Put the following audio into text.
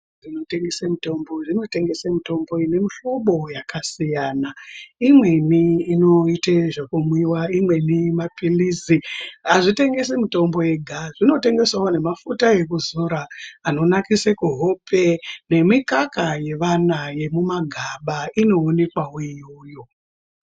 ...dzinotengese mutombo zvinotengese mutombo inemuhlobo yakasiyana. Imweni inoite zvekumwiwa, imweni maphillizi. Hazvitengesi mitombo yega zvinotengesawo nemafuta ekuzora anonakise kuhope. Nemikaka yevana yemumagaba inoonekwawo iyoyo.